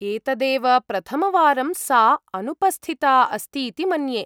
एतदेव प्रथमवारं सा अनुपस्थिता अस्तीति मन्ये।